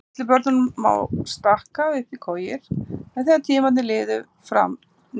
Litlum börnum má stakka upp í kojur en þegar tímar liðu fram neitaði